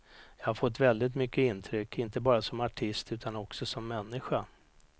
Jag har fått väldigt mycket intryck, inte bara som artist utan också som människa.